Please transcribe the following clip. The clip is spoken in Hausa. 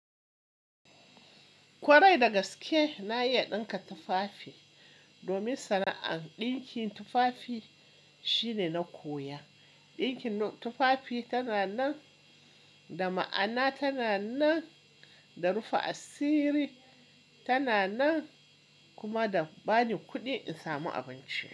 Kwarai da gaske na iya ɗinka tufafi domin sana'an ɗinkin tufafi shine na koya. Ɗinkin tufafi tana nan da ma'ana, tana nan da rufa asiri, tana nan kuma da ba ni kuɗi in samu abinci.